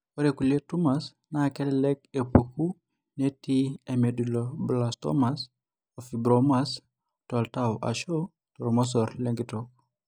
Ore kulie tumars naa kelelek epuku netii emedulloblastomas, o fibromas toltau ashu toormosor lenkitok.